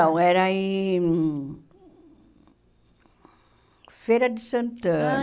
Não, era em... Feira de Santana. Ah